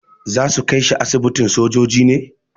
Za su kai shi asibitin sojoji ne.